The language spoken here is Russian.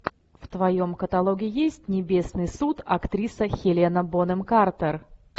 в твоем каталоге есть небесный суд актриса хелена бонем картер